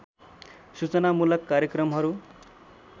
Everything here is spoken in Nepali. सूचनामूलक कार्यक्रमहरू